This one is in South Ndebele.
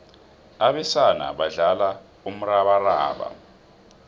abesana badlala umrabaraba